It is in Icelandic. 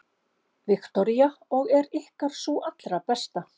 Viktoría: Og er ykkar sú allra besta?